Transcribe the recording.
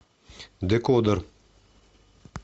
декодер